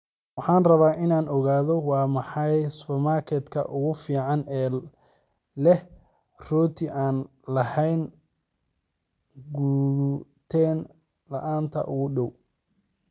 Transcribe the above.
Waxaan rabaa inaan ogaado waa maxay supermarket-ka ugu fiican ee leh rooti aan lahayn gluten-la'aanta u dhow